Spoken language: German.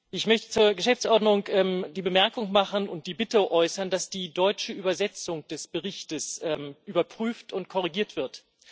Ich möchte zur Geschäftsordnung die Bemerkung machen und die Bitte äußern, dass die deutsche Übersetzung des Berichts überprüft und korrigiert wird.